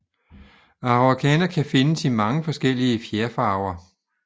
Araucana kan findes i mange forskellige fjerfarver